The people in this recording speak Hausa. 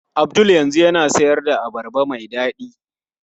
Abdul yanzu yana siyar da abarba mai dadi.